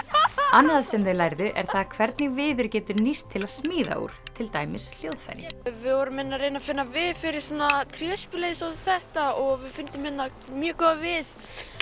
annað sem þau lærðu er það hvernig viður getur nýst til að smíða úr til dæmis hljóðfæri við vorum hérna að reyna að finna við fyrir svona tréspil eins og þetta og við fundum hérna mjög góðan við